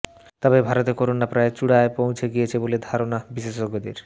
তবে ভারতে করোনা প্রায় চূড়ায় পৌঁছে গিয়েছে বলে ধারণা বিশেষজ্ঞদের